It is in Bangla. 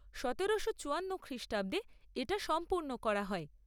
সতেরোশো চুয়ান্ন খ্রিষ্টাব্দে এটা সম্পূর্ণ করা হয়।